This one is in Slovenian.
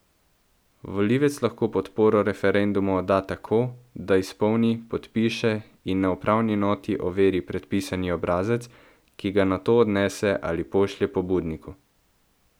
Volivec lahko podporo referendumu odda tako, da izpolni, podpiše in na upravni enoti overi predpisani obrazec, ki ga nato odnese ali pošlje pobudniku.